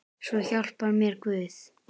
Svo hjálpi mér Guð.